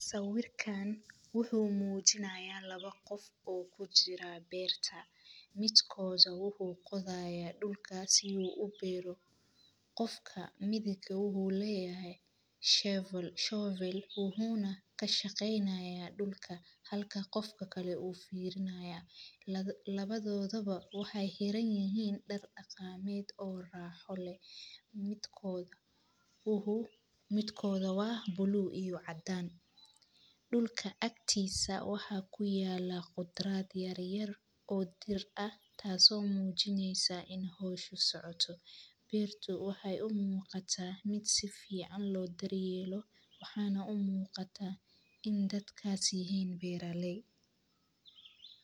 Sawirkan wuxu mujinaya labo qof o kujira berta midkoda wuxu qodaya dulkasi su u beero qofka midig wuxu leyahay shovel wuxu kashqeynaya dulka halka qof kale u firnaya labadodaba waxay xeran yahin dar aqamed o raaxo leh midkoda wa bluu iyo cadan. Dulak agtisa waxa kuyela khudrad yaryar o dhir ah tas o mujineysa in howsha socoto beerto waxay u muqata si fican lo daryeelo waxana u muqata in dadkas yahin beeraley.